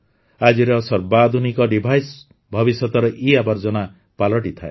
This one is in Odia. ଆଜିର ସର୍ବାଧୁନିକ ଡିଭାଇସ୍ ଭବିଷ୍ୟତର ଇଆବର୍ଜନ ପାଲଟିଥାଏ